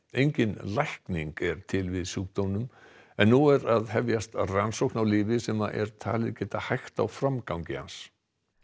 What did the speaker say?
engin lækning er til við sjúkdómnum en nú er að hefjast rannsókn á lyfi sem er talið geta hægt á framgang hans